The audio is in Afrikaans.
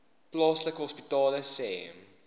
plaaslike hospitale sê